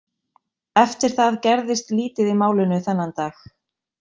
Eftir það gerðist lítið í málinu þennan dag.